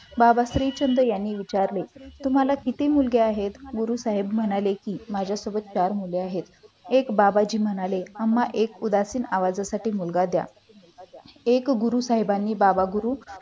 बाबाश्री चंद्र यांनी विचारले तुम्हाला किती मुल आहेत गुरु साहेब म्हणाले की माझ्यासोबत चार मुले आहेत त्यात बाबाजी म्हणाले आम्हाला उदासीन आवाजासाठी मुलगा द्या एक गुरु साहेबांनी गुरु